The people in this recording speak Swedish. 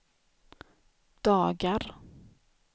dagar